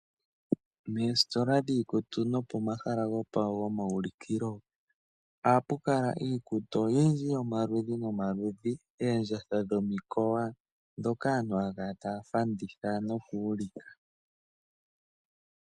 Moositola dhiikutu no pomahala gopomaulikilo ohapu kala iikutu oyindji yomaludhi nomaludhi. Oondjatha dhomikowa, dhoka aantu haya kala taya fanditha noku ulika.